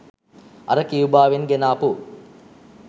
අර කියුබාවෙන් ගෙනාපු